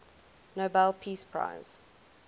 nobel peace prize